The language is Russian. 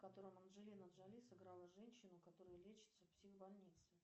в котором анджелина джоли сыграла женщину которая лечится в психбольнице